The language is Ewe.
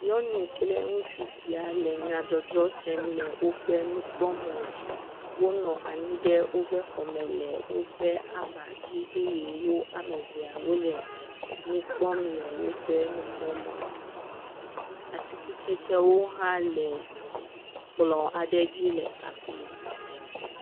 Nyɔnu kple ŋutsu sia le nyadzɔdzɔ sem le woƒe nukpɔmɔ dzi. Wonɔ anyi ɖe wò ƒe xɔ me le woƒe aʋa dzi eye wò ame eveawo le nu kpɔm le woƒe aʋa dzi. Atikutsetse hã le kplɔ aɖe le afima.